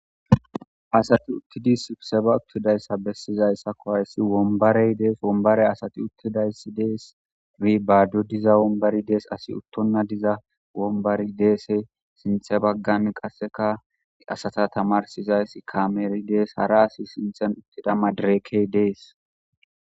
asati uttidi subseba uttidayssa bessizayssako hayssi wombarey dees wombarey asati uttidayssi dees i bado diza wombari dees asi uttonna diza wombari deese sinthe baggan qasseka asata tamarsizayss kameri dees hara asi sinthen uttida madrekey dees